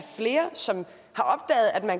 sytten